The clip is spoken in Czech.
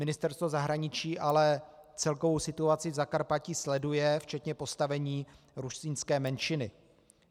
Ministerstvo zahraničí ale celkovou situaci v Zakarpatí sleduje, včetně postavení rusínské menšiny.